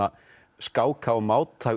skáka og máta